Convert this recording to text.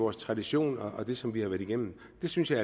og tradition og det som vi har været igennem det synes jeg